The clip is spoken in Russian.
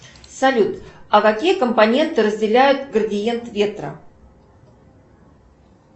салют а какие компоненты разделяют градиент ветра